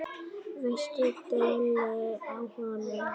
Veistu deili á honum?